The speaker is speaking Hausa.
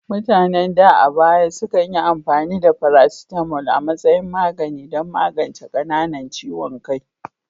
Mutanen da a baya sukan yi amfani da paracetamol a matsayin magani don magance qananan ciwon kai,